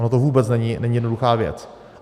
Ono to vůbec není jednoduchá věc.